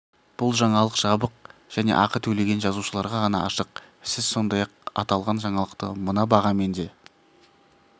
бұл жаңалық жабық және ақы төлеген жазылушыларға ғана ашық сіз сондай-ақ аталған жаңалықты мына бағамен де